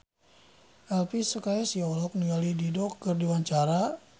Elvi Sukaesih olohok ningali Dido keur diwawancara